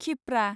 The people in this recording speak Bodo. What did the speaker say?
क्षिप्रा